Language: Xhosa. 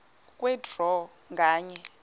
kwe draw nganye